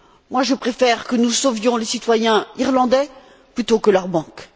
Moi, je préfère que nous sauvions les citoyens irlandais plutôt que leurs banques.